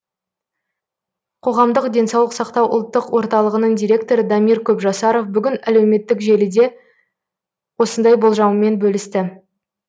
қоғамдық денсаулық сақтау ұлттық орталығының директоры дамир көпжасаров бүгін әлеуметтік желіде осындай болжамымен бөлісті